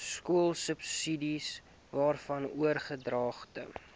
skoolsubsidies waarvan oordragte